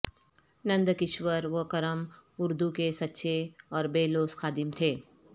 نند کشور وکرم اردو کے سچے اور بے لوث خادم تھے